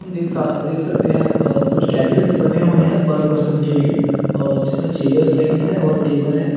देख सा देख सकते है कुछ केबिन्स बने हुए हैं पर पर्सन के लिए और जिसमें चेयर्स लगी हुई है और टेबल है।